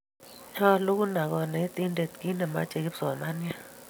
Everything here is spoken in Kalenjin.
nyoluu kunai konetinte kiit nemeche kipsomanian